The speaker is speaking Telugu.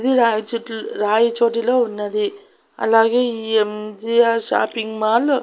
ఇది రాయిచోటి రాయిచోటిలో ఉన్నది అలాగే ఈ ఎం_జీ_ఆర్ షాపింగ్ మాల్ .